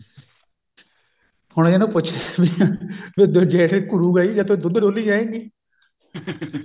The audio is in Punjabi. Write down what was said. ਹੁਣ ਇਹਨੂੰ ਪੁੱਛੇ ਵੀ ਵੀ ਜੇਠ ਘੁਰੁ ਗਾ ਹੀ ਜੇ ਤੂੰ ਦੁੱਧ ਡੋਲੀ ਜਾਇਂਗੀ